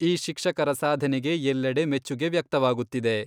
ಈ ಶಿಕ್ಷಕರ ಸಾಧನೆಗೆ ಎಲ್ಲೆಡೆ ಮೆಚ್ಚುಗೆ ವ್ಯಕ್ತವಾಗುತ್ತಿದೆ.